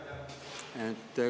Aitäh!